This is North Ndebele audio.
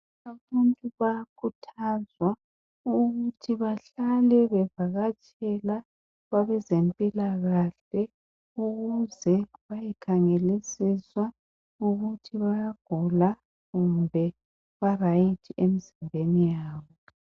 Abantu bayakhuthazwa ukuthi bahlale bevakatshela kwabezempilakahle ukuze bayekhangelisiswa ukuthi bayagula kumbe barayithi emzimbeni yabo.